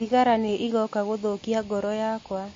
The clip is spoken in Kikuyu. Thigara nĩ ĩgoka gũthũkia goro yakwa.